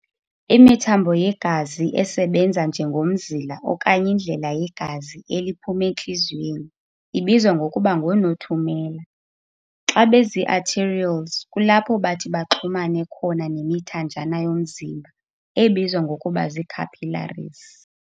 Imithambo yegazi esebenza njengomzila okanye indlela yegazi eliphuma entliziyweni ibizwa ngokuba ngoo-nothumela. Xa bezii-arterioles kulapho bathi baxhumane khona nemithanjana yomzimba ebizwa ngokuba zii-capillaries.